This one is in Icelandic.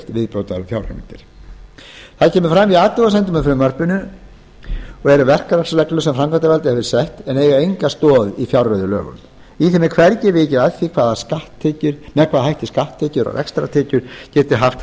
viðbótarfjárheimildir það sem kemur fram í athugasemdum með frumvarpinu eru verklagsreglur sem framkvæmdarvaldið hefur sett en eiga enga stoð í fjárreiðulögunum í þeim er hvergi vikið að því með hvaða hætti skatttekjur og rekstrartekjur geta haft